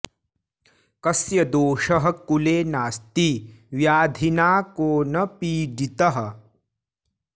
कस्य दोषः कुले नास्ति व्याधिना को न पीडितः